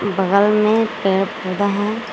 बगल में पेड़ पौधा है।